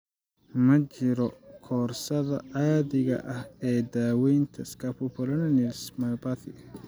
Ma jiro koorsada caadiga ah ee daaweynta scapupoperoneal myopathy.